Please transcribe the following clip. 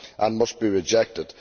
It must be rejected.